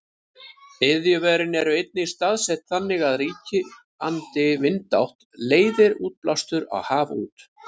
iðjuverin eru einnig staðsett þannig að ríkjandi vindátt leiðir útblástur á haf út